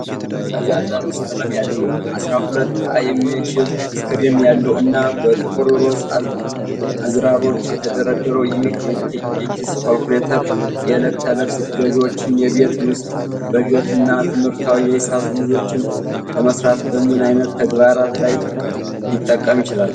ፈዛዛ ሮዝ ቀለም ያለው፣ አሥራ ሁለት አ የሚችል ስክሪን ያለው፣ እና በጥቁር ሮዝ አዝራሮች የተደረደረው ይህ የኪስ ካልኩሌተር የዕለት ተዕለት ግዢዎችን። የቤት ውስጥ በጀትን እና ትምህርታዊ የሂሳብ ልምምዶችን ለመሥራት በምን አይነት ተግባራት ላይ ሊጠቅም ይችላል?